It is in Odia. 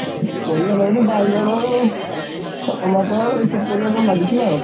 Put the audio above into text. ପରିବା ଲଗେଇଥିଲୁ ବାଇଗଣ, tomato ଏଇ ସବୁ ପରିବା ସବୁ ଲାଗିଥିଲା ଆଉ।